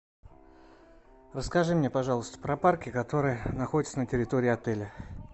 расскажи мне пожалуйста про парки которые находятся на территории отеля